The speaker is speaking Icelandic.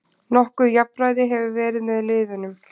Nokkuð jafnræði hefur verið með liðunum